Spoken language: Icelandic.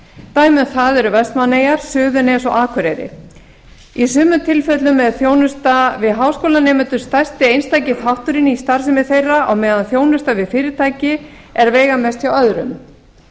dæmi um það eru vestmannaeyjar suðurnes og akureyri í sumum tilfellum er þjónusta við háskólanemendur stærsti einstaki þátturinn í starfsemi þeirra á meðan þjónusta við fyrirtæki er veigamest hjá öðrum